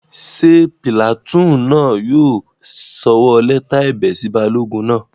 Ṣé pìlàtúùnù náà yóò sọwọ́ lẹ́tà ẹ̀bẹ̀ sí balógun náà?